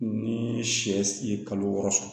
Ni sɛ si ye kalo wɔɔrɔ sɔrɔ